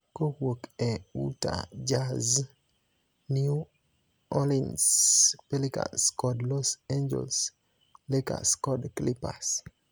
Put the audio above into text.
kowuok e Utah Jazz, New Orleans Pelicans kod Los Angeles Lakers kod Clippers